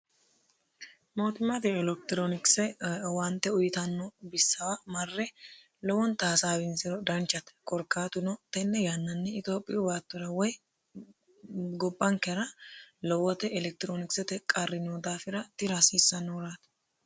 mootimaate elektiroonikise owaante uyitanno bissawa marre lowonta hasaawinsiro danchate korkaatuno tenne yannanni itiophiyu baattora woy gobbankera lowote elektiroonikisete qarri noo daafira tira hasiissanohuraati